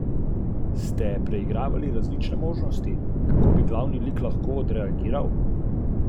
To so ljudje, ki so obsedeni s podrobnostmi.